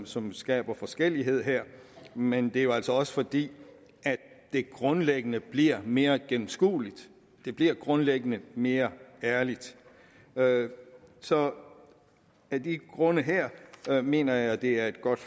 som skaber forskellighed her men det er jo altså også fordi det grundlæggende bliver mere gennemskueligt det bliver grundlæggende mere ærligt ærligt så af de grunde her mener jeg at det er et godt